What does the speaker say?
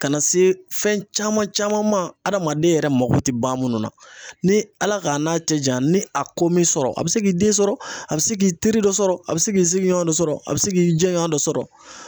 Kana se fɛn caman caman ma hadamaden yɛrɛ mako te ban munnu na. Ni Ala ka n'a cɛ janya ni a ko m'i sɔrɔ a be se k'i den sɔrɔ a be se k'i teri dɔ sɔrɔ a be se k'i sigiɲɔn dɔ sɔrɔ, a be se k'i jɛɲɔn dɔ sɔrɔ